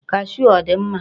kashuu a ọ dị mma?